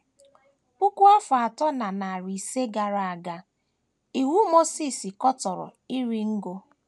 PUKU afọ atọ na narị ise gara aga,, Iwu Mosis katọrọ iri ngo.